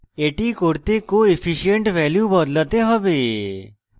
এটি করতে coefficient value বদলাতে have